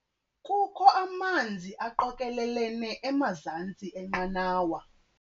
Kukho amanzi aqokelelene emazantsi enqanawa.